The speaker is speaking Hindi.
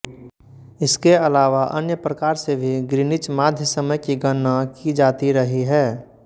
इसके अलावा अन्य प्रकार से भी ग्रीनिच माध्य समय की गणना की जाती रही है